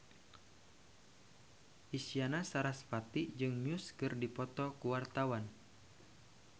Isyana Sarasvati jeung Muse keur dipoto ku wartawan